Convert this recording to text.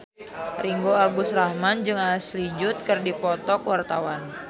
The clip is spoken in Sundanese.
Ringgo Agus Rahman jeung Ashley Judd keur dipoto ku wartawan